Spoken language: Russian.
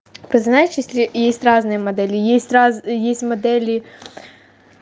вот знаешь если есть разные модели есть раз есть модели